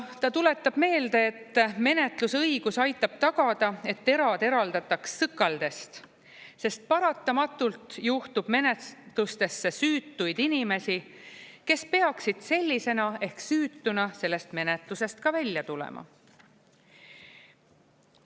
Ta tuletab meelde, et menetlusõigus aitab tagada, et terad eraldataks sõkaldest, sest paratamatult juhtub menetlustesse süütuid inimesi, kes peaksid sellisena ehk süütuna sellest menetlusest ka välja tulema.